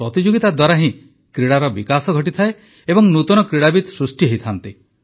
ପ୍ରତିଯୋଗିତା ଦ୍ୱାରା ହିଁ କ୍ରୀଡ଼ାର ବିକାଶ ଘଟେ ଏବଂ ନୂତନ କ୍ରୀଡ଼ାବିତ୍ ସୃଷ୍ଟି ହୁଅନ୍ତି